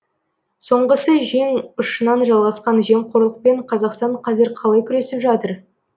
соңғысы жең ұшынан жалғасқан жемқорлықпен қазақстан қазір қалай күресіп жатыр